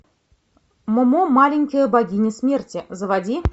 момо маленькая богиня смерти заводи